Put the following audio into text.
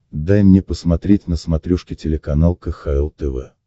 дай мне посмотреть на смотрешке телеканал кхл тв